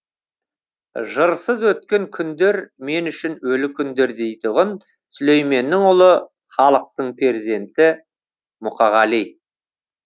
жырсыз өткен күндер мен үшін өлі күндер дейтұғын сүлейменнің ұлы халықтың перзенті мұқағали